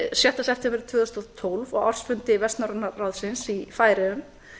sjötta september tvö þúsund og tólf á ársfundi vestnorræna ráðsins í færeyjum